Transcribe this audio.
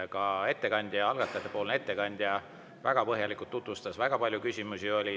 Ka algatajatepoolne ettekandja väga põhjalikult tutvustas seda, väga palju küsimusi oli.